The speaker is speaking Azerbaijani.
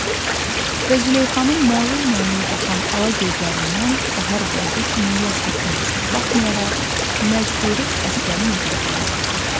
Və Züleyxanın məlun-məlul baxan ala gözlərindən bahar buludu kimi yaş tökülməsinə baxmayaraq, məcburi əsgərin evinə göndərdi.